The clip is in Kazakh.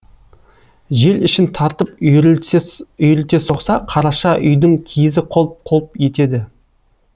жел ішін тартып үйірілте соқса қараша үйдің киізі қолп қолп етеді